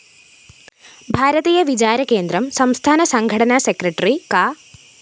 ഭാരതീയ വിചാരകേന്ദ്രം സംസ്ഥാനസംഘടനാ സെക്രട്ടറി കാ